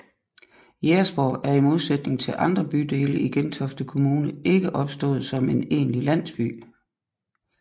Jægersborg er i modsætning til andre bydele i Gentofte Kommune ikke opstået som en egentlig landsby